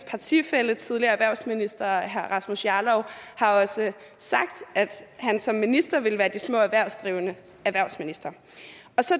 partifælle tidligere erhvervsminister herre rasmus jarlov har også sagt at han som minister ville være de små erhvervsdrivendes erhvervsminister